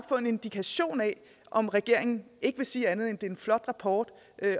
få en indikation af om regeringen ikke vil sige andet end at det er en flot rapport